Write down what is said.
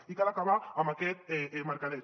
i cal acabar amb aquest mercadeig